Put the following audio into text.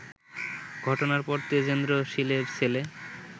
ঘটনার পর তেজেন্দ্র শীলের ছেলে